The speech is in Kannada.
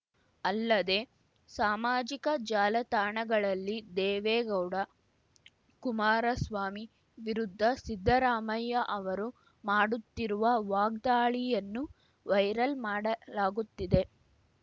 ಅಲ್ಲದೆ ಸಾಮಾಜಿಕ ಜಾಲತಾಣಗಳಲ್ಲಿ ದೇವೇಗೌಡ ಕುಮಾರಸ್ವಾಮಿ ವಿರುದ್ಧ ಸಿದ್ದರಾಮಯ್ಯ ಅವರು ಮಾಡುತ್ತಿರುವ ವಾಗ್ದಾಳಿಯನ್ನು ವೈರಲ್‌ ಮಾಡಲಾಗುತ್ತಿದೆ